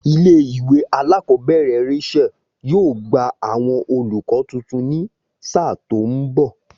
Ilé ìwé alákòóbèrè Rachael yóò gba àwon olùkó tuntun ní sáà tó n bò